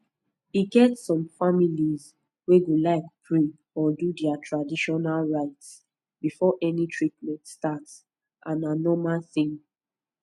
e get some families wey go like pray or do their traditional rites before any treatment start and na normal thing